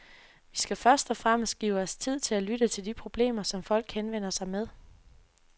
Vi skal først og fremmest give os tid til at lytte til de problemer, som folk henvender sig med.